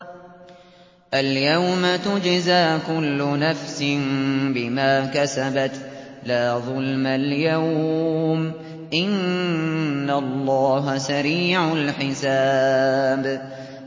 الْيَوْمَ تُجْزَىٰ كُلُّ نَفْسٍ بِمَا كَسَبَتْ ۚ لَا ظُلْمَ الْيَوْمَ ۚ إِنَّ اللَّهَ سَرِيعُ الْحِسَابِ